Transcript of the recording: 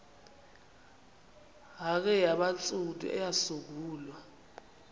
hare yabantsundu eyasungulwa